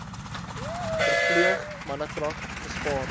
verpleeg mannekrag gespaar